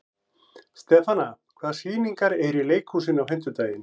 Stefana, hvaða sýningar eru í leikhúsinu á fimmtudaginn?